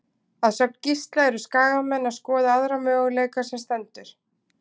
Að sögn Gísla eru Skagamenn að skoða aðra möguleika sem stendur.